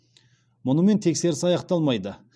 мұнымен тексеріс аяқталмайды